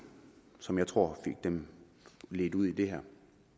som jeg tror fik dem ledt ud i det her